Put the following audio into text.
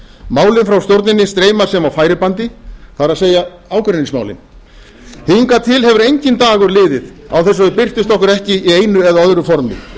málin frá stjórninni streyma sem á færibandi það er ágreiningsmálin hingað til hefur enginn dagur liðið án þess að þau birtist okkur ekki í einu eða öðru formi